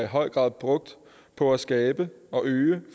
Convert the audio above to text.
høj grad brugt på at skabe og øge